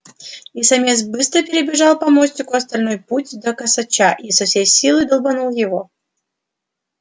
и самец быстро перебежал по мостику остальной путь до косача и со всей силы долбанул его